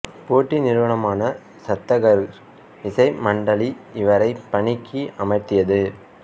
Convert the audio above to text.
போட்டி நிறுவனமான சத்தர்கர் இசை மண்டலி இவரை பணிக்கு அமர்த்தியது